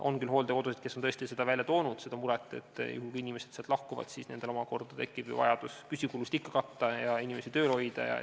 On küll hooldekodusid, kes on tõesti väljendanud seda muret, et juhul kui inimesed sealt lahkuvad, siis tekib nendel omakorda vajadus ikka püsikulusid katta ja inimesi tööl hoida.